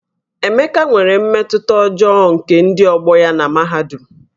Emeka nwere mmetụta ọjọọ nke ndị ọgbọ ya na mahadum